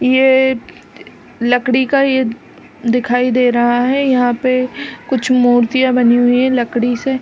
ये लकड़ी का ये दिखाई दे रहा है यहाँ पे कुछ मुर्तिया बनी हुई है लकड़ी से --